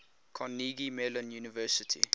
carnegie mellon university